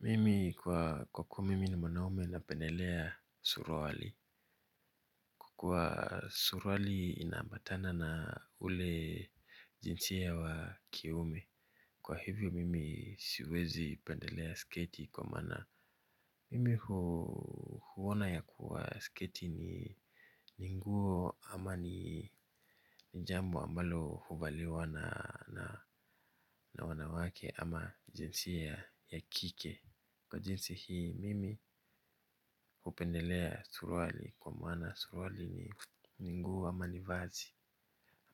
Mimi kwa kwa kuwa mimi ni mwanaume na pendelea surwali. Kwa kuwa surwali inaambatana na ule jinsia wa kiume. Kwa hivyo mimi siwezi pendelea sketi kwa mana. Mimi huona ya kuwa sketi ni ninguo ama ni nijambo ambalo huvaliwa na wanawake ama jinsia ya kike. Kwa jinsi hii mimi hupendelea surwali kwa maana surwali ni ninguo ama nivazi